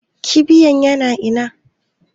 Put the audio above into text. Kibiyan yana ina?